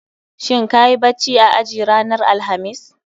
Shin kayi bacci a aji ranar Alhamis?